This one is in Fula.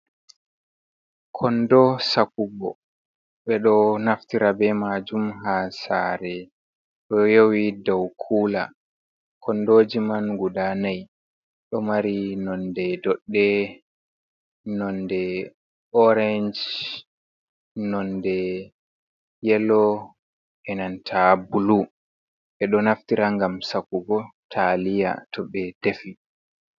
Kondo Sakugo: ɓeɗo naftira be majum ha sare ɗo yowi dau kula. Kondoji man guda nai ɗo mari nonde doɗɗe, nonde orange, nonde yelo, e'nanta bulu. Ɓedo naftira ngam sakugo taaliya to ɓe defi.